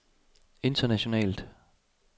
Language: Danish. internationalt